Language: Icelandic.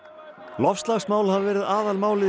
loftslagsmál hafa verið aðalmálið í